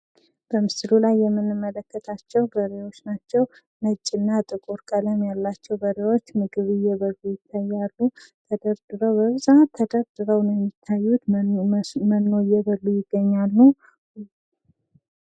በምስሉ ላይ የምንመለከታቸው በሬዎች ናቸው። ነጭ እና ጥቁር ቀለም ያላቸው በሬዎች ምግብ እየበሉ ይታያሉ። ተደርድረው በብዛት ተደርድረው ነው የሚታዩት መኖ እየበሉ ይገኛሉ።